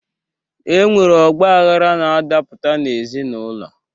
E nwere ọgbaghara na-adapụta n'ezinụlọ.